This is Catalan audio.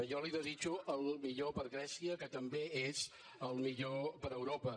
jo li desitjo el millor per a grècia que també és el millor per a europa